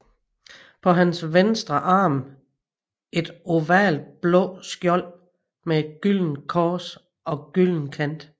På hans venstre arm et ovalt blåt skjold med et gyldent kors og gylden kant